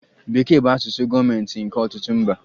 Bekee bụ asụsụ gọọmentị nke ọtụtụ mba.